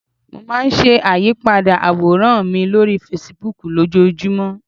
Mo máa n sàyípadà àwòrán mi lórí Fasibúùkù lójojúmọ̀